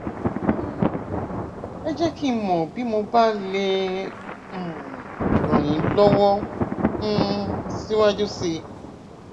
um ẹ jẹ kí n mọ bí mo bá lè um ràn yín lọwọ um síwájú sí i